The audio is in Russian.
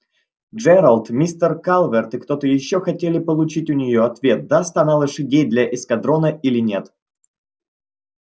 джералд мистер калверт и кто-то ещё хотели получить у нее ответ даст она лошадей для эскадрона или нет